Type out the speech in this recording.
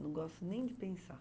Não gosto nem de pensar.